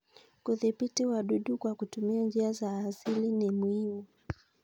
Kudhibiti wadudu kwa kutumia njia za asili ni muhimu.